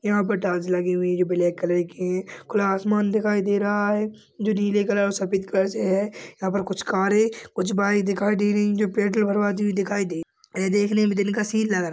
यहां पर टाइल्स लगी हुई हैं ब्लैक कलर का खुला आसमान दिखाई दे रहा है जो नीले कलर और सफेद कलर से है। यहां पर कुछ कारें कुछ बाइक दिखाई दे रही हैं। पेट्रोल भरवाते हुए दिखाई दे रही है। यह देखने में दिन का सीन लग रहा है।